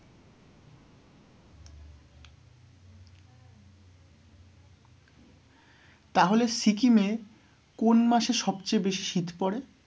তাহলে সিকিমে কোন মাসে সব চেয়ে বেশি শীত পড়ে?